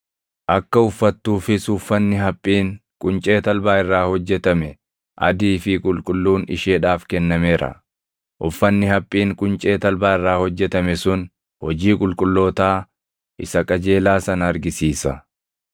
Akka uffattuufis uffanni haphiin quncee talbaa irraa hojjetame, adii fi qulqulluun isheedhaaf kennameera.” Uffanni haphiin quncee talbaa irraa hojjetame sun hojii qulqullootaa isa qajeelaa sana argisiisa.